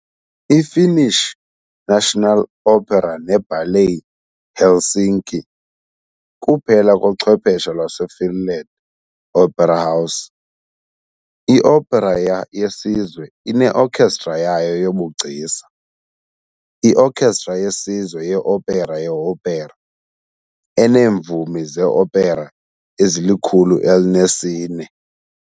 I-Finnish National Opera neBallet Helsinki kuphela kochwephesha lwaseFinland opera house. IOpera yeSizwe ineokhestra yayo yobugcisa, Iokhestra yeSizwe yeOpera yeOpera, eneemvumi zeopera ezili-104.